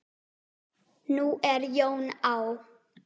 Nú er Jón á